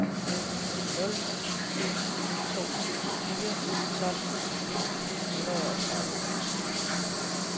nul syv to fire tolv ni hundrede og tredive